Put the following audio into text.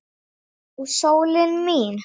Já, sólin mín.